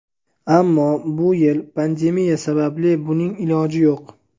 Ammo bu yil pandemiya sababli buning iloji yo‘q.